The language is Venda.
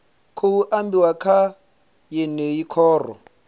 khou ambiwa kha yeneyi khoro